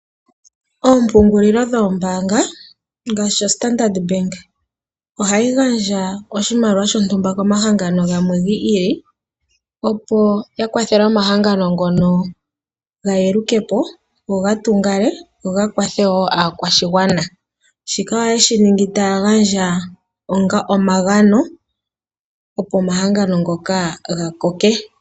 Ompungulilo dhoombaanga ngaashi oStandard Bank , ohayi gandja oshimaliwa shontumba komahangano gamwe giili , opo yakwathele omahangano gayambukepo , go gatungale, go gakwathe wo aakwashigwana . Shika oye shi ningi ya gandje onga omagano, opo omahangano ngoka gakoke.